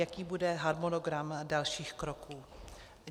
Jaký bude harmonogram dalších kroků?